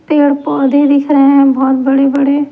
पेड़ पौधे दिख रहे है बहोत बड़े बड़े ----